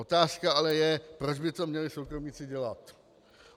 Otázka ale je, proč by to měli soukromníci dělat.